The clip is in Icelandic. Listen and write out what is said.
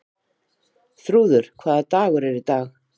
Þrúður, hvaða dagur er í dag?